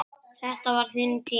Þetta var þinn tími.